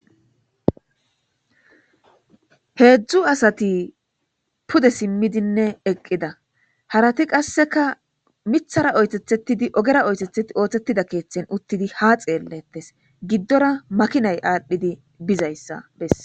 Heedzdzu asati pude simmidinne eqqida harati qasseka mithara oytethetidi ogera oytetheti ooththettida keeththen uttidi ha xeellettes giddora makinay aadhdhidi bizayssa bess.